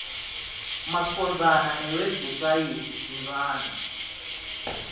macondzana newebhusayithi tsintsana